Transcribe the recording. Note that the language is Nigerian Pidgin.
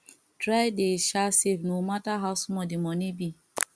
try dey sha safe no mata how small di moni bi